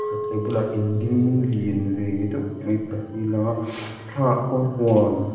a bulah in ding lian ve deuh mai pahnih a lang a thlangah khuan huan--